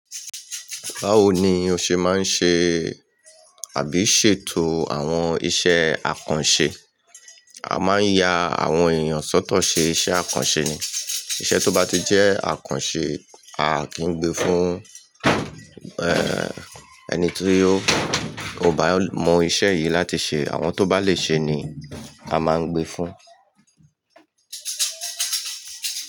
Báwo ni o ṣe máa ń ṣe àbí ṣètò àwọn iṣẹ́ àkànṣe? A máa ń ya àwọn èèyàn sọ́tọ̀ ṣe iṣẹ́ àkànṣe ni. Iṣẹ́ tó bá ti jẹ́ àkànṣe, a kìí gbé fún, ẹ́ee ẹni ti ó bá mọ iṣẹ́ yìí láti ṣe. Àwọn tó bá lè ṣe ni a máa ń gbé fún.